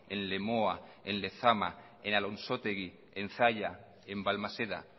en lemoa en lezama en alonsotegi en zalla en balmaseda